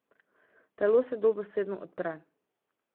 Telo se dobesedno odpre.